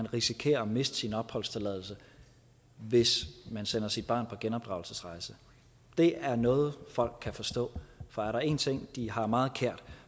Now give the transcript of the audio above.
risikerer at miste sin opholdstilladelse hvis man sender sit barn på genopdragelsesrejse det er noget folk kan forstå for er der en ting de har meget kær